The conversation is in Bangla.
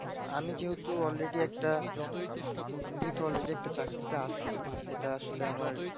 আমি যেহেতু already একটা আমি যেহেতু already একটা চাকরিতে আছি সেটা আসলে আমার